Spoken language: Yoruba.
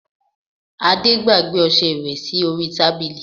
Ade gbàgbé ọsẹ ìwẹ̀ sí orí tábìlì